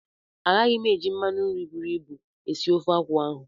Agaghị m eji mmanụ nri buru ibu esi ofe akwụkwọ ahụ.